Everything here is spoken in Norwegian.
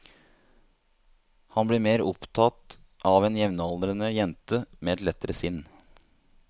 Han blir mer opptatt av en jevnaldrende jente med et lettere sinn.